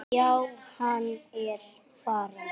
Já, hann er farinn